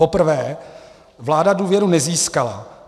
Poprvé vláda důvěru nezískala.